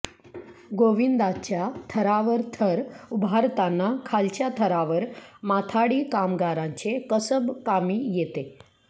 गोविंदाच्या थरावर थर उभारताना खालच्या थरावर माथाडी कामगारांचे कसब कामी येते